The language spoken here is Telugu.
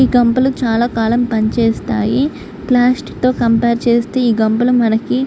ఈ గంపలు చాలా కాలం పనిచేస్తాయి. కంపేర్ చేస్తే ఈ గంపలు మనకి--